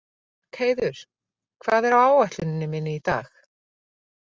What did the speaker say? Björgheiður, hvað er á áætluninni minni í dag?